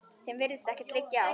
Þeim virðist ekkert liggja á.